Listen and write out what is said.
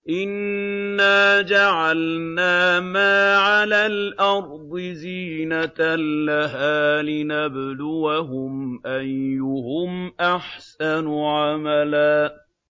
إِنَّا جَعَلْنَا مَا عَلَى الْأَرْضِ زِينَةً لَّهَا لِنَبْلُوَهُمْ أَيُّهُمْ أَحْسَنُ عَمَلًا